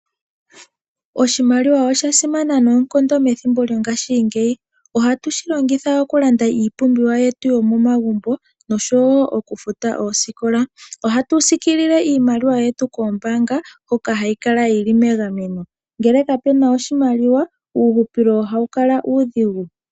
Oshimaliwa osha simana noonkondo methimbo lyongashingeyi. Oha tu shi longitha okulanda iipumbiwa yetu yomomagumbo noshowo okufuta oosikola. Oha tu zikilile iimaliwa yetu kombaanga hoka hayi kala yi li megameno. Ngele kapena oshimaliwa uuhupilo oha wu kala uudhigu.